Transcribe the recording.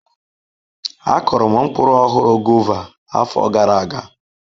Akuru m mkpụrụ ọhụrụ, guava, afọ gara aga.